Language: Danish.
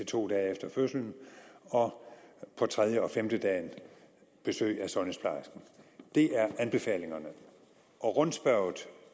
to dage efter fødslen og på tredje eller femtedagen besøg af sundhedsplejersken det er anbefalingerne og rundspørget